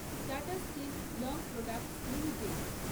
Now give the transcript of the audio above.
tata steel long products limited